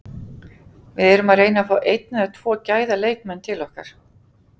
Við erum að reyna að fá einn eða tvo gæða leikmenn til okkar.